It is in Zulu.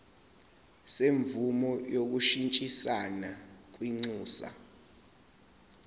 semvume yokushintshisana kwinxusa